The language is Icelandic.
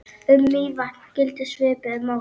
Um Mývatn gildir svipuðu máli.